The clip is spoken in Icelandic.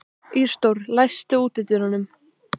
Ísidór, læstu útidyrunum.